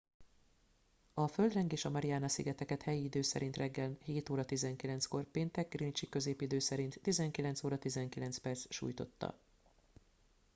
a földrengés a mariana-szigeteket helyi idő szerint reggel 07: 19-kor péntek greenwichi középidő szerint 19:19 sújtotta